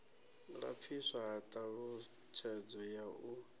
lapfiswa ha ṱhalutshedzo ya u